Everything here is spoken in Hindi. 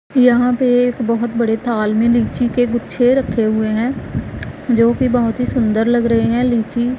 यहां पे एक बहोत बड़े थाल में लीची के गुच्छे रखे हुए हैं जोकि बहोत ही सुंदर लग रहे हैं लीची--